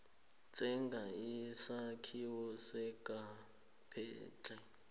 tsenga isakhiwo sangaphandle